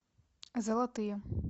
золотые